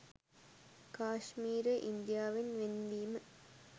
කාශ්මීරය ඉන්දියාවෙන් වෙන් වීම